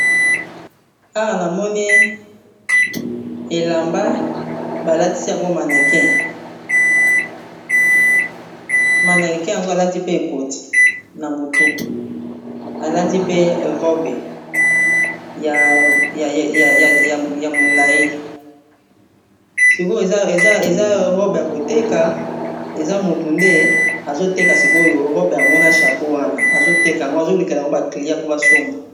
Awa namoni elamba balatisi yango maneki maneki yango alati mpe ekoti na motu, alati pe robe ya molai sikoyo eza robe ya koteka eza motu nde azoteka sikoyo robe yango na chapeau wana azoteka yango azolukela yango baclia mpo basomba.